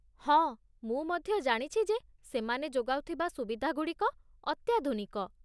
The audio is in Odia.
ହଁ, ମୁଁ ମଧ୍ୟ ଜାଣିଛି ଯେ ସେମାନେ ଯୋଗାଉଥିବା ସୁବିଧାଗୁଡ଼ିକ ଅତ୍ୟାଧୁନିକ